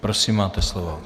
Prosím, máte slovo.